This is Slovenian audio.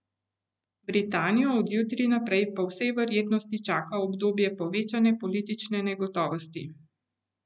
Britanijo od jutri naprej po vsej verjetnosti čaka obdobje povečane politične negotovosti.